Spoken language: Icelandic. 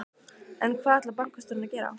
En hvað ætlar bankastjórinn að gera?